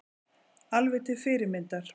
Alveg til fyrirmyndar